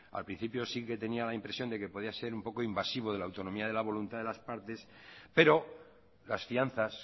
a principio sí que tenía la impresión de que podía ser un poco invasivo de la autonomía de la voluntad de las partes pero las fianzas